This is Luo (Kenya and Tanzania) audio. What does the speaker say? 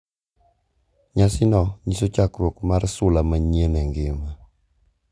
Nyasi no nyiso chakruok mar sula manyien e ngima .